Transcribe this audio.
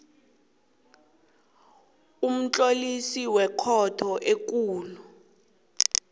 umtlolisi wekhotho ekulu